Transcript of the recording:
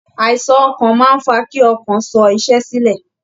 Àìsàn ọkàn máa ń fa kí ọkàn sọ iṣẹ́ sílẹ̀